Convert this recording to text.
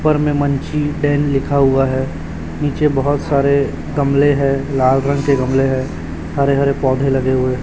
लिखा हुआ है नीचे बहुत सारे गमले हैं लाल रंग के गमले हैं हरे हरे पौधे लगे हुए--